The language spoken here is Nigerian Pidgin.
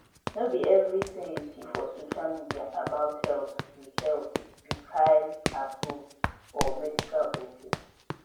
no be everything you see for social media about health be health be kyleapproved or medical ok